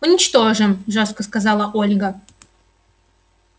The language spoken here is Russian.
уничтожим жёстко сказала ольга